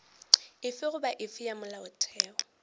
efe goba efe ya molaotheo